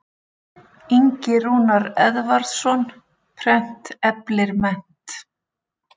Ingi Rúnar Eðvarðsson, Prent eflir mennt.